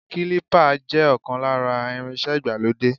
Kílípà jẹ́ ọ̀kan lára irinṣẹ́ ìgbàlódé.